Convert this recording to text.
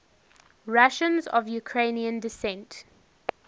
russians of ukrainian descent